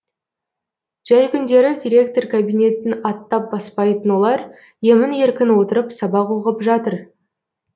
жәй күндері директор кабинетін аттап баспайтын олар емін еркін отырып сабақ оқып жатыр